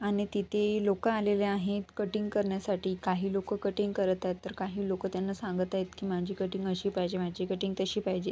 आणि तिथे लोक आलेली आहेत कटिंग करण्यासाठी काही लोक कटिंग करत आहेत तर काही लोक त्यांना सांगत आहेत की माझी कटिंग अशी पाहिजे माझी कटिंग तशी पाहिजे.